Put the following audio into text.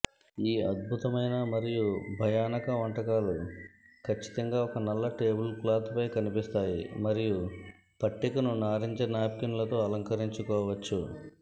ఈ అద్భుతమైన మరియు భయానక వంటకాలు ఖచ్చితంగా ఒక నల్ల టేబుల్క్లాత్పై కనిపిస్తాయి మరియు పట్టికను నారింజ నాప్కిన్లుతో అలంకరించవచ్చు